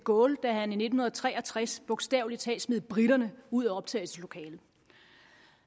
gaulle da han i nitten tre og tres bogstavelig talt smed briterne ud af optagelseslokalet